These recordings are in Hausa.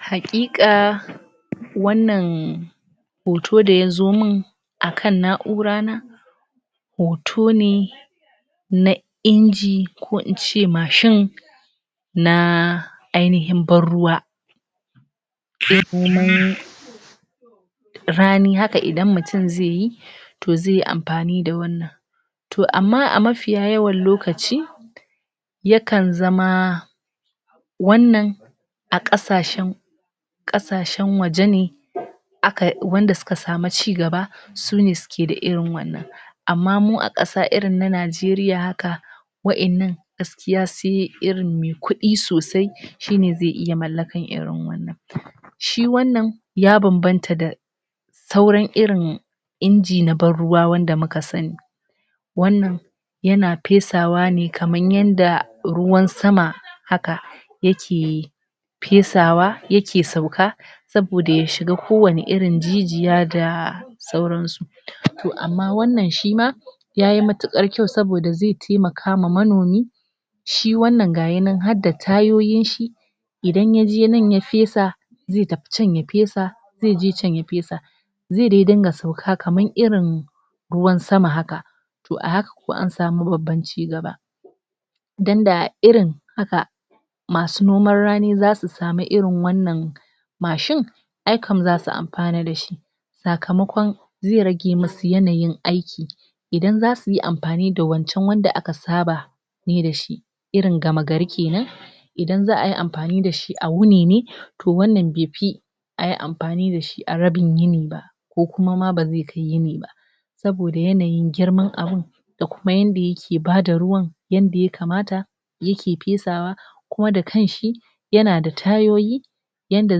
Haƙiƙa wannan hoto da ya zo min a kan na'urana. Hoto ne na inji, ko in ce mashin na ainihin banruwa. rani haka idan mutum zai yi to zai amfani da wannan To amma a mafiya yawan lokaci yakan zama wannan a ƙasashen ƙasashen waje ne aka wanda suka samu ci gaba, sune suke da irin wannan. amma mu a ƙasa irin na Najeriya haka, waɗannan gaskiya sai irin mai kuɗi sosai shi ne zai iya mallakar irin wannan. Shi wannan ya banbanta da sauran irin inji na banruwa wanda muka sani. wannan yana fesawa ne kamar yadda ruwan sama haka yake fesawa yake sauka saboda ya shiga kowane irin jijiya da sauransu. To amma wannan shi ma, ya yi matuƙar kyau, saboda zai taimaka wa manomi Shi wannan ga shi nan har da tayoyinshi, idan ya je nan ya fesa, zai tafi can ya fesa zai je can ya fesa. zai dai dinga sauka kamar irin ruwan sama haka, to a haka kau an samu babban ci gaba. Don da irin haka masu noman rani za su samu irin wannan mashin, ai kau za su amfana da shi. sakamakon zai rage musu yanayin aiki Idan za su yi amfani da wancan wanda aka saba, yi da shi, irin gama gari ke nan, idan za a yi amfani da shi a wuni ne, to wannan bai fi a yi amfani da shi a rabin yinin ba. ko kuma ma ba zai kai yinin ba. saboda yanayin girman abun. da kuma yadda yake ba da ruwan, yadda ya kamata yake fesawa, kuma da kanshi, yana da tayoyi, yanda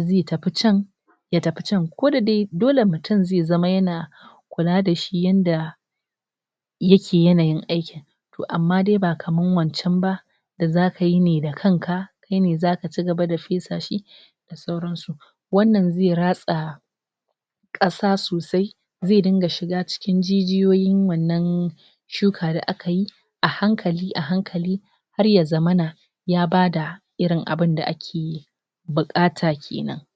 zai tafi can ya tafi can. Ko da dai dole mutum zai zama yana kula da shi yanda yake yanayin aikin. To amma dai ba kamar wancan ba. da za ka yi ne da kanka, kai ne za ka ci gaba da fesa shi. da sauransu. Wannan zai ratsa ƙasa sosai zai dinga shiga cikin jijiyoyin wannan shuka da aka yi, a hankali, a hankali. har ya zamana ya bada irin abun da ake yi buƙata ke nan.